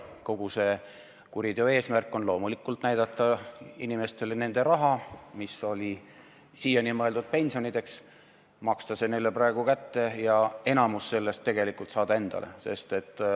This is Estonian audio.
Kogu selle kuriteo eesmärk on loomulikult maksta inimestele nende raha, mis oli siiani mõeldud pensioniks, praegu kätte ja enamik sellest tegelikult saada endale.